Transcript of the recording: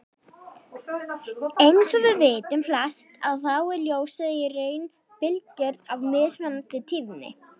Eins og við vitum flest að þá er ljósið í raun bylgjur af mismunandi tíðni.